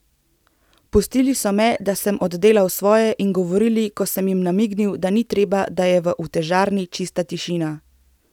Pustili so me, da sem oddelal svoje, in govorili, ko sem jim namignil, da ni treba, da je v utežarni čista tišina.